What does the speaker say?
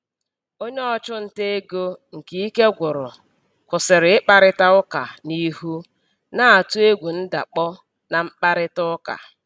Onye ọchụnta ego nke ike gwụrụ kwụsịrị ịkparịta ụka n'ihu, na-atụ egwu ndakpọ na mkparịta ụka.